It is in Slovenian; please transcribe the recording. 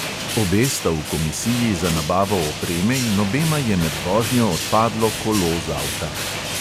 Obe sta v komisiji za nabavo opreme in obema je med vožnjo odpadlo kolo z avta.